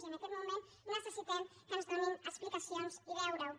i en aquests moments necessitem que ens donin explicacions i veure ho